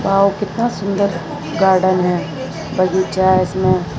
वाव कितना सुंदर गार्डन है बगीचा है इसमें।